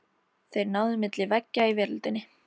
Þeir náðu milli veggja í veröldinni.